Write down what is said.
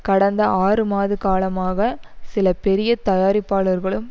கடந்த ஆறு மாத காலமாக சில பெரிய தயாரிப்பாளர்களும்